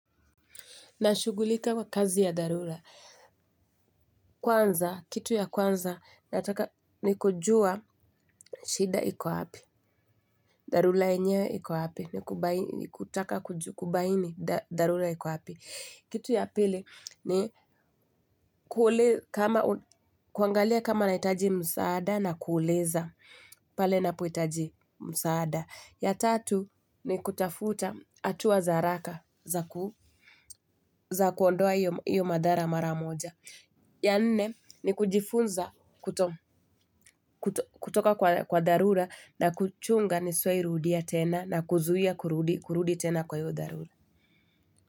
Nashugulika kwa kazi ya dharura. Kwanza, kitu ya kwanza, ni kujua shida iko hapi. Dharura enyewe iko wapi. Ni kutaka, kubaini dharura iko wapi. Kitu ya pili, ni kuangalia kama nahitaji msaada na kuuliza. Pale napo hitaji msaada. Ya tatu ni kutafuta hatua za haraka za kuondoa hiyo madhara mara moja. Ya nne ni kujifunza kutoka kwa dharura na kuchunga nisiwahi rudia tena na kuzuia kurudi tena kwa hiyo dharura.